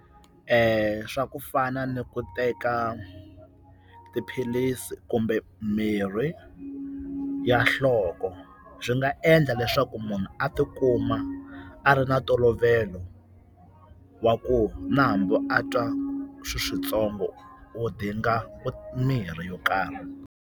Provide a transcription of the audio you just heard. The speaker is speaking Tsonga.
Swa ku fana ni ku teka tiphilisi kumbe mirhi ya nhloko, swi nga endla leswaku munhu a tikuma a ri na ntolovelo wa ku na hambi a twa swiswintsongo u dinga mirhi yo karhi.